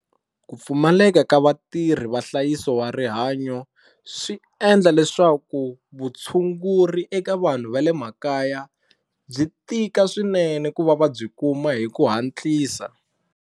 Ku pfumaleka ka vatirhi va nhlayiso wa rihanyo swi endla leswaku vutshunguri eka vanhu va le makaya byi tika swinene ku va va byi kuma hi ku hatlisa.